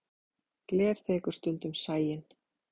Gler þekur stundum sæinn.